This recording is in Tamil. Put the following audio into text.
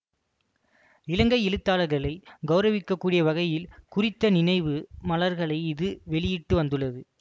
இலங்கை எழுத்தாளர்களை கௌரவிக்கக்கூடிய வகையில் குறித்த நினைவு மலர்களை இது வெளியிட்டுவந்துள்ளது